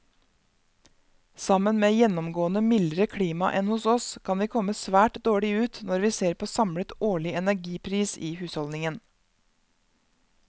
Sammen med gjennomgående mildere klima enn hos oss, kan vi komme svært dårlig ut når vi ser på samlet årlig energipris i husholdningen.